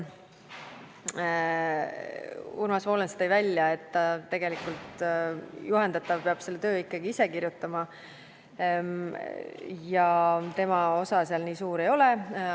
Urmas Volens tõi välja, et tegelikult peab juhendatav oma töö ikkagi ise kirjutama ja tema osa seal nii suur ei ole.